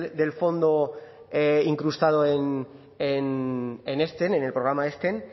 del fondo incrustado en en el programa